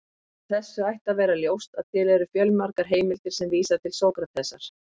Af þessu ætti að vera ljóst að til eru fjölmargar heimildir sem vísa til Sókratesar.